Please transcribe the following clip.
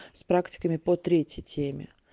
с практиками по третьей теме